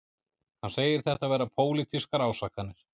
Hann segir þetta vera pólitískar ásakanir